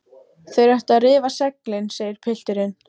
Þeir ættu að rifa seglin, segir pilturinn.